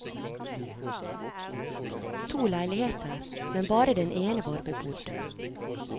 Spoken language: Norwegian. To leiligheter, men bare den ene var bebodd.